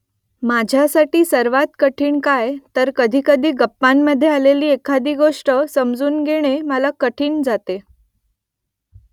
माझ्यासाठी सर्वांत कठीण काय कधीकधी गप्पांमधे आलेली एखादी गोष्ट समजून घेणं मला कठीण जातं ?